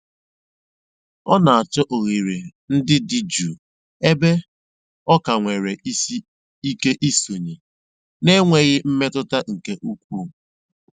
Ọ na-àchọ́ òghèrè ndí dị́ jụ́ụ́ ébè ọ ka nwèrè ìké ìsònyè na-ènwèghị́ mmètụ́tà nkè ùkwuù.